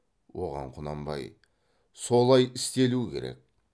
оған құнанбай солай істелу керек